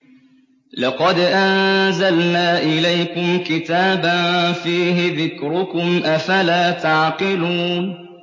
لَقَدْ أَنزَلْنَا إِلَيْكُمْ كِتَابًا فِيهِ ذِكْرُكُمْ ۖ أَفَلَا تَعْقِلُونَ